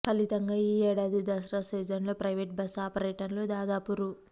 ఫలితంగా ఈ ఏడాది దసరా సీజన్లో ప్రయివేటు బస్సు ఆపరేటర్లు దాదాపు రూ